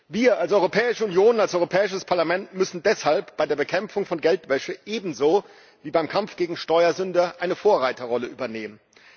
Wir als Europäische Union, als Europäisches Parlament, müssen deshalb bei der Bekämpfung von Geldwäsche ebenso wie beim Kampf gegen Steuersünder eine Vorreiterrolle übernehmen.